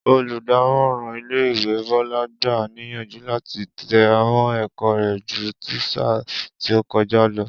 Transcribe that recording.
Olùdámò̩ràn ilé ìwé Bó̩lá gbà á níyànjú láti te̩ra mó̩ è̩kó̩ rè̩ ju ti sáà tí ó ko̩já lo̩